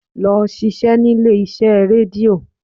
Lọ ṣiṣẹ́ nílé iṣẹ́ rédíò!